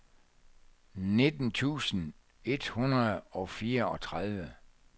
nitten tusind et hundrede og fireogtredive